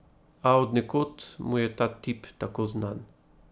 A od nekod mu je ta tip tako znan ...